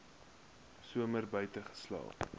somer buite geslaap